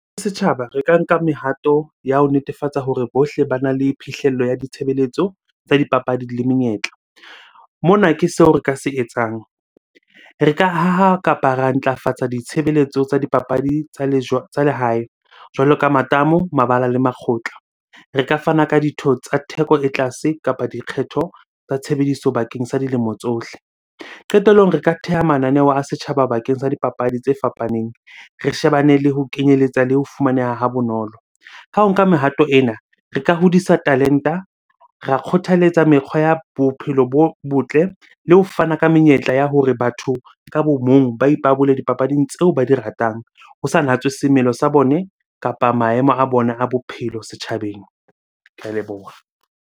Setjhaba, re ka nka mehato ya ho netefatsa hore bohle bana le phihlello ya ditshebeletso tsa dipapadi le menyetla. Mona ke seo re ka se etsang. Re ka haha kapa ra ntlafatsa ditshebeletso tsa dipapadi tsa tsa lehae jwalo ka matamo, mabala le makgotla. Re ka fana ka ditho tsa theko e tlase kapa dikgetho tsa tshebediso bakeng sa dilemo tsohle. Qetellong, re ka theha mananeo a setjhaba bakeng sa dipapadi tse fapaneng, re shebane le ho kenyeletsa le ho fumaneha ha bonolo. Ka ho nka mehato ena, re ka hodisa talent-a, ra kgothaletsa mekgwa ya bophelo bo botle le ho fana ka menyetla ya hore batho ka bo mong ba ipabole dipapading tseo ba di ratang. Ho sa natswe semelo sa bone kapa maemo a bona a bophelo setjhabeng. Ke a leboha.